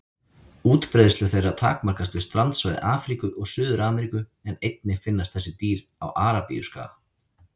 Útbreiðslu þeirra takmarkast við strandsvæði Afríku og Suður-Ameríku en einnig finnast þessi dýr á Arabíuskaga.